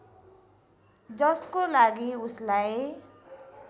जसको लागि उसलाई